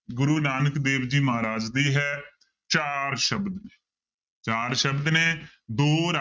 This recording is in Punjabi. ਗੁਰੂ ਨਾਨਕ ਦੇਵ ਜੀ ਮਹਾਰਾਜ ਦੀ ਹੈ, ਚਾਰ ਸ਼ਬਦ, ਚਾਰ ਸ਼ਬਦ ਨੇ ਦੋ ਰ~